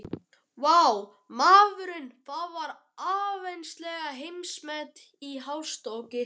Vá, maður, það var áreiðanlega heimsmet í hástökki.